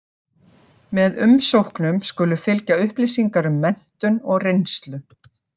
Með umsóknum skulu fylgja upplýsingar um menntun og reynslu.